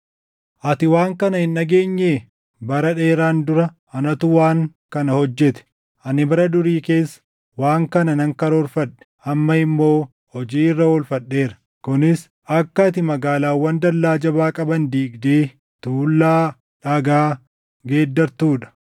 “ ‘Ati waan kana hin dhageenyee? Bara dheeraan dura anatu waan kana hojjete. Ani bara durii keessa waan kana nan karoorfadhe; amma immoo hojii irra oolfadheera; kunis akka ati magaalaawwan dallaa jabaa qaban diigdee tuullaa dhagaa geeddartuu dha.